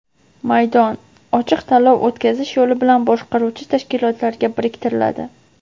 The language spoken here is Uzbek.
m maydon) ochiq tanlov o‘tkazish yo‘li bilan boshqaruvchi tashkilotlarga biriktiriladi.